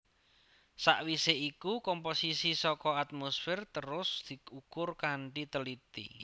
Sawisé iku komposisi saka atmosfer terus diukur kanthi teliti